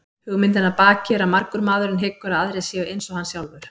Hugmyndin að baki er að margur maðurinn hyggur að aðrir séu eins og hann sjálfur.